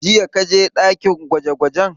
Jiya ka je ɗakin gwaje gwajen?